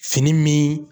Fini min